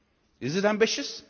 Is it ambitious?